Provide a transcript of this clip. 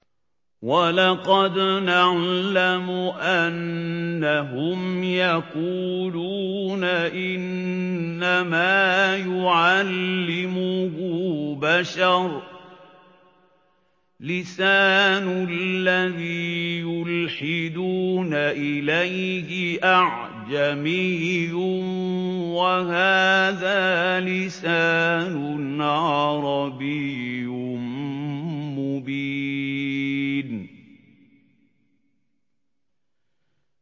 وَلَقَدْ نَعْلَمُ أَنَّهُمْ يَقُولُونَ إِنَّمَا يُعَلِّمُهُ بَشَرٌ ۗ لِّسَانُ الَّذِي يُلْحِدُونَ إِلَيْهِ أَعْجَمِيٌّ وَهَٰذَا لِسَانٌ عَرَبِيٌّ مُّبِينٌ